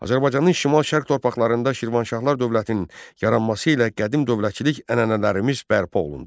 Azərbaycanın şimal-şərq torpaqlarında Şirvanşahlar dövlətinin yaranması ilə qədim dövlətçilik ənənələrimiz bərpa olundu.